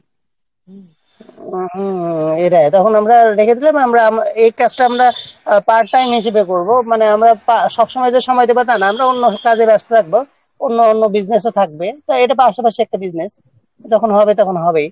হম এটা তখন আমরা রেখে দিলে এবার আমরা এই কাজটা আমরা Part time হিসেবে করব মানে আমরা সবসময় যে সময় দেব তা নয় আমরা অন্য কাজে ব্যস্ত থাকব অন্য business-এ থাকবে এটা পাশাপাশি একটা business যখন হবে তখন হবে